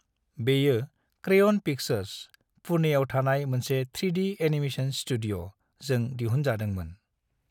बेयो crayon pictures (पुणेआव थानाय मोनसे 3डी एनिमेशन स्टुडिय') जों दिहुन जादोंमोन।